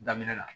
Daminɛ la